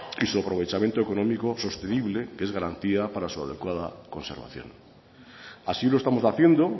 y su aprovechamiento económico sostenible que es garantía para su adecuada conservación así lo estamos haciendo